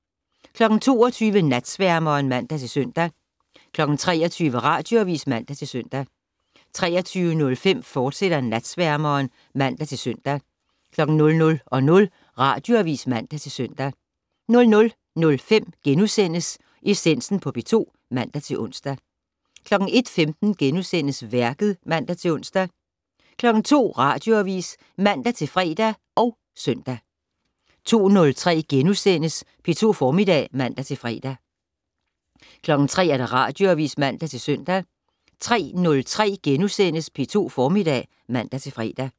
22:00: Natsværmeren (man-søn) 23:00: Radioavis (man-søn) 23:05: Natsværmeren, fortsat (man-søn) 00:00: Radioavis (man-søn) 00:05: Essensen på P2 *(man-ons) 01:15: Værket *(man-ons) 02:00: Radioavis (man-fre og søn) 02:03: P2 Formiddag *(man-fre) 03:00: Radioavis (man-søn) 03:03: P2 Formiddag *(man-fre)